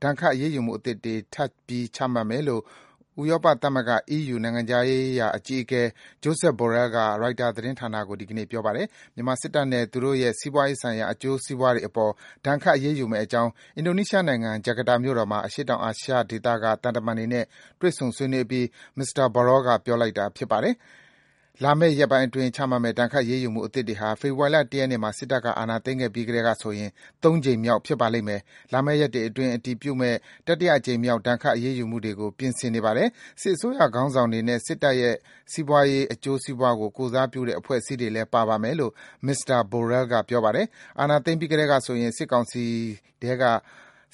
ဒဏ်ခတ်အရေးယူမှုအသစ်တွေ ထပ်ပြီး ချမှတ်မယ်လို့ ဥရောပသမဂ္ဂ (EU) နိုင်ငံခြားရေးရာအကြီးအကဲ Josep Borrell က ရိုက်တာသတင်းဌာနကို ဒီကနေ့ပြောပါတယ်။ မြန်မာစစ်တပ်နဲ့ သူတို့ရဲ့ စီးပွားရေးဆိုင်ရာ အကျိုးစီးပွားတွေအပေါ် ဒဏ်ခတ်အရေးယူမယ့်အကြောင်း အင်ဒိုနီးရှားနိုင်ငံ၊ ဂျကာတာမြို့တော်မှာ အရှေ့တောင်အာရှဒေသက သံတမန်တွေနဲ့ တွေ့ဆုံ ဆွေးနွေးအပြီး မစ္စတာ Borrell ကပြောတာပါ။ လာမယ့်ရက်ပိုင်းအတွင်း ချမှတ်မယ့် ဒဏ်ခတ်အရေးယူမှုအသစ်တွေဟာ ဖေဖော်ဝါရီလ ၁ ရက်နေ့မှာ စစ်တပ်က အာဏာသိမ်းခဲ့ပြီးကတည်းကဆိုရင် ၃ ကြိမ်မြောက်ဖြစ်ပါလိမ့်မယ်။ "လာမယ့်ရက်တွေအတွင်း အတည်ဖြစ်မယ့် တတိယအကြိမ်မြောက် ဒဏ်ခတ်အရေးယူမှုတွေကို ပြင်ဆင်နေပါတယ်။ စစ်အစိုးရခေါင်းဆောင်တွေနဲ့ စစ်တပ်ရဲ့ စီးပွားရေးအကျိုးစီးပွားကို ကိုယ်စားပြုတဲ့ အဖွဲ့အစည်းတွေလည်း ပါပါမယ်။" လို့ မစ္စတာ Borrell ကပြောပါတယ်။ အာဏာသိမ်းပြီးကတည်းကဆိုရင် စစ်ကောင်စီထဲက